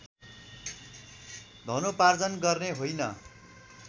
धनोपार्जन गर्ने होइन